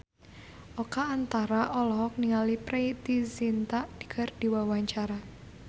Oka Antara olohok ningali Preity Zinta keur diwawancara